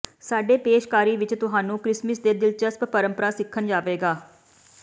ਸਾਡੇ ਪੇਸ਼ਕਾਰੀ ਵਿੱਚ ਤੁਹਾਨੂੰ ਕ੍ਰਿਸਮਸ ਦੇ ਦਿਲਚਸਪ ਪਰੰਪਰਾ ਸਿੱਖਣ ਜਾਵੇਗਾ